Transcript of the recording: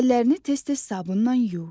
Əllərini tez-tez sabunla yuy.